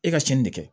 E ka cɛnni de kɛ